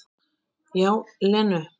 Já, Lenu.